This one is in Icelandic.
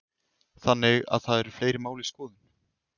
Þannig að það eru fleiri mál í skoðun?